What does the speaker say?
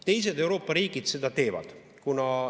Teised Euroopa riigid seda teevad.